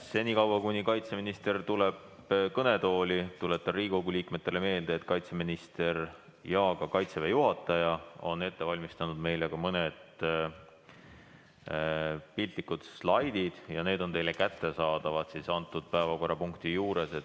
Senikaua kuni kaitseminister tuleb kõnetooli, tuletan Riigikogu liikmetele meelde, et kaitseminister ja ka Kaitseväe juhataja on ette valmistanud ka mõne slaidi ja need on teile kättesaadavad selle päevakorrapunkti juures.